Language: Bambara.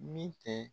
Min tɛ